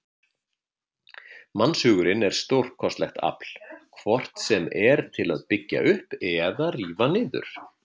Mannshugurinn er stórkostlegt afl, hvort sem er til að byggja upp eða rífa niður.